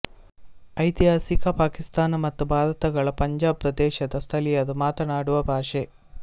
ಐತಿಹಾಸಿಕ ಪಾಕಿಸ್ತಾನ ಮತ್ತು ಭಾರತಗಳ ಪಂಜಾಬ್ ಪ್ರದೇಶದ ಸ್ಥಳೀಯರು ಮಾತನಾಡುವ ಭಾಷೆ